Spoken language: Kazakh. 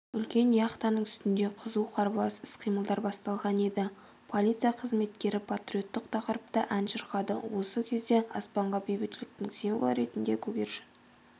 үлкен яхтаның үстінде қызу қарбалас іс-қимылдар басталған еді полиция қызметкері патриоттық тақырыпта ән шырқады осы кезде аспанға бейбітшіліктің символы ретінде көгершін